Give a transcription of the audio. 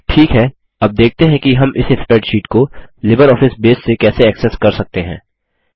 ठीक है अब देखते हैं कि हम इस स्प्रैडशीट को लिबरऑफिस बेस से कैसे एक्सेस कर सकते हैं